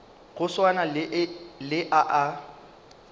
go swana le a a